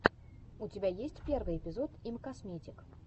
у тебя есть первый эпизод имкосметик